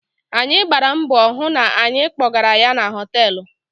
Anyị gbara mbọ hụ na anyị kpọgara ya na họtelụ.